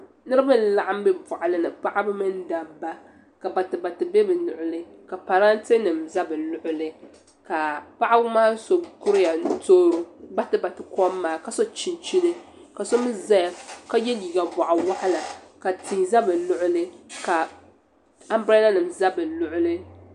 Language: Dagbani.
Niriba n laɣim bɛ bɔɣili ni paɣiba mini dabba ka batibati bɛ bi luɣili ka paranntɛ nim za bi luɣuli ka paɣib maa so kuriya n toori bati bati kom maa ka so chinchini ka mi zaya ka yiɛ liiga bɔɣi wɔɣila ka tii za bi luɣili ka ambrɛla nim za bi luɣuli.